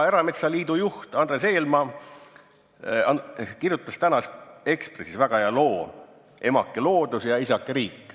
Erametsaliidu juht Ando Eelmaa kirjutas tänases Eesti Ekspressis väga hea loo "Emake Loodus ja isake Riik".